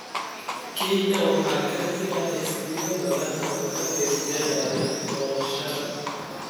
Kenya waxaa ka jira xisbiyo badan oo ka qeyb galaya doorashada.